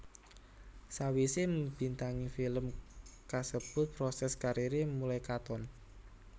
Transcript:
Sawisé mbintangi film kasebut proses kariré mulai katon